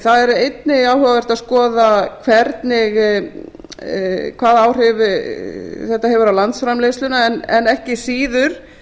það er einnig áhugavert að skoða hvaða áhrif þetta hefur á landsframleiðsluna en ekki síður